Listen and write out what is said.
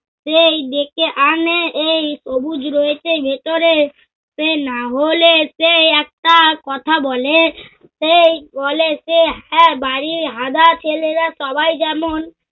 সেই ডেকে আনে এই সবুজ রয়েছে ভেতরে। সে না হলে সে একটা কথা বলে, সে বলে যে হ্যা বাড়ীর হাদা ছেলেরা সবাই যেমন